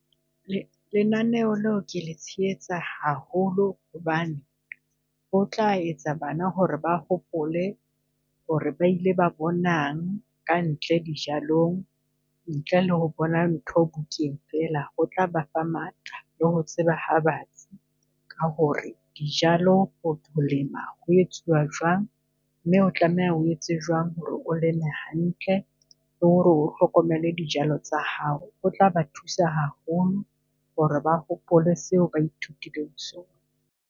Lenaneho leo ke le tshehetsa haholo hobane o tla etsa bana ho re ba hopole ho re ba ile ba bonang ka ntle dijalong, ntle le ho bona ntho bukeng fela. Ho tla ba fa matla le ho tseba ha batsi ka ho re dijalo ho lema ho etsuwa jwang. Mme o tlameha ho etse jwang ho re o leme hantle, le ho re o hlokomele dijalo tsa hao? O tla ba thusa haholo ho re ba hopole seo ba ithutileng sona.